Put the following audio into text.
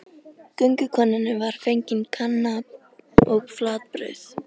Göngukonunni var fengin kanna og flatbrauð.